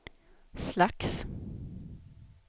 slags